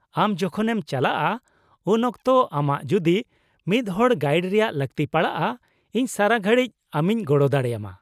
-ᱟᱢ ᱡᱚᱠᱷᱚᱱᱮᱢ ᱪᱟᱞᱟᱜᱼᱟ ᱩᱱᱚᱠᱛᱚ ᱟᱢᱟᱜ ᱡᱩᱫᱤ ᱢᱤᱫᱦᱚᱲ ᱜᱟᱭᱤᱰ ᱨᱮᱭᱟᱜ ᱞᱟᱹᱠᱛᱤ ᱯᱟᱲᱟᱜᱼᱟ, ᱤᱧ ᱥᱟᱨᱟ ᱜᱷᱟᱲᱤᱡ ᱟᱢᱤᱧ ᱜᱚᱲᱚ ᱫᱟᱲᱮᱭᱟᱢᱟ ᱾